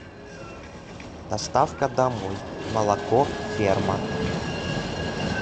доставка домой молоко ферма